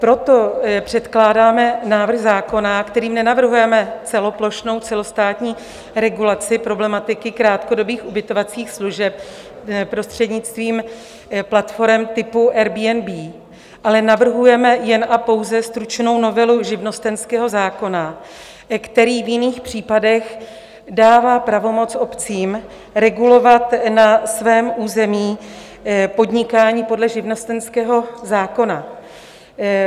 Proto předkládáme návrh zákona, kterým nenavrhujeme celoplošnou, celostátní regulaci problematiky krátkodobých ubytovacích služeb prostřednictvím platforem typu Airbnb, ale navrhujeme jen a pouze stručnou novelu živnostenského zákona, který v jiných případech dává pravomoc obcím regulovat na svém území podnikání podle živnostenského zákona.